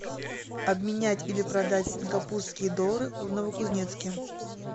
обменять или продать сингапурские доллары в новокузнецке